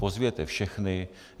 Pozvěte všechny.